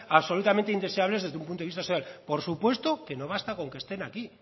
absolutamente indeseables desde un punto de vista social por supuesto que no basta con que estén aquí